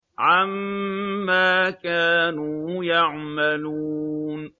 عَمَّا كَانُوا يَعْمَلُونَ